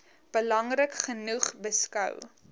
belangrik genoeg beskou